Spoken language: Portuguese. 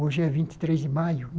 Hoje é vinte e três de maio.